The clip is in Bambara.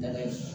Daga in